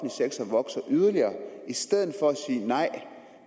sektor vokser yderligere i stedet for at sige nej